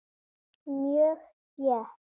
Mjög þétt.